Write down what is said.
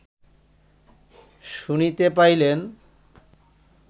শুনিতে পাইলেন